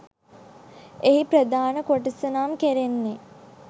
එහි ප්‍රධාන කොටස නම් කෙරෙන්නේ